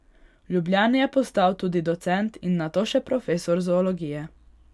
V Ljubljani je postal tudi docent in nato še profesor zoologije.